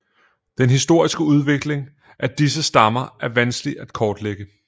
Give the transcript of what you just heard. Den historiske udvikling af disse stammer er vanskelig at kortlægge